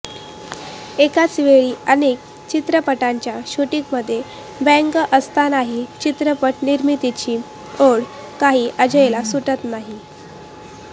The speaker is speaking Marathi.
एकाच वेळी अनेक चित्रपटांच्या शूटिंगमध्ये व्यग्र असतानाही चित्रपट निर्मितीची ओढ काही अजयला सुटत नाही